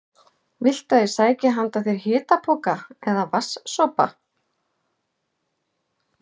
Viltu að ég sæki handa þér hitapoka eða vatns- sopa?